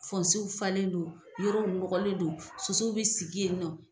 Fɔnsew falen don, yorow nɔgɔlen do, sosow be sigi yen nɔ